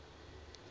af elke keer